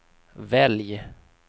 välj